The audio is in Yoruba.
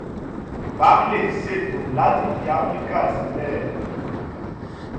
barclays ṣètò láti fi africa sílẹ̀